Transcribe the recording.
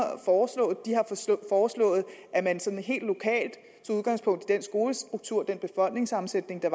foreslå de har foreslået at man sådan helt i den skolestruktur den befolkningssammensætning der